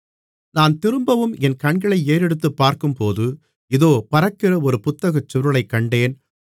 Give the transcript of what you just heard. நான் திரும்பவும் என் கண்களை ஏறெடுத்து பார்க்கும்போது இதோ பறக்கிற ஒரு புத்தகச்சுருளைக் கண்டேன்